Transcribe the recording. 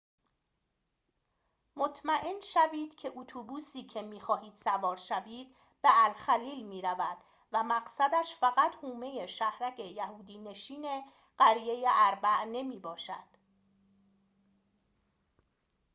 مطمئن شوید که اتوبوسی که می‌خواهید سوار شوید به الخلیل می‌رود و مقصدش فقط حومه شهرک یهودی نشین قریه أربع نمی‌باشد